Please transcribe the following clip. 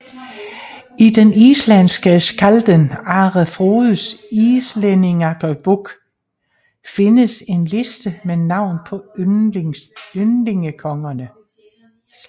I den islandske skkalden Are Frodes Íslendingabók findes en liste med navn på ynglingekongerne